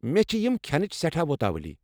مے٘ چھِ یِم كھیٚنٕچ سیٹھاہ وُتاوٕلی ۔